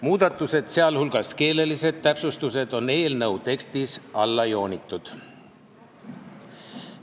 Muudatused, sh keelelised täpsustused, on eelnõu tekstis alla joonitud.